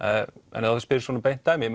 en ef þú spyrð svona beint dæmi